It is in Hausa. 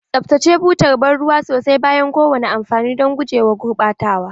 Tsaftace butar ban ruwa sosai bayan kowane amfani don guje wa gurɓatawa.